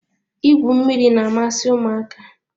Igwu mmiri na-amasị ụmụaka.